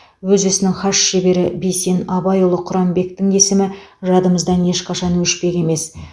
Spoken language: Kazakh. өз ісінің хас шебері бейсен абайұлы құранбектің есімі жадымыздан ешқашан өшпек емес